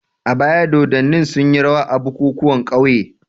A baya dodanni sunyi rawa a bukukuwan ƙauye.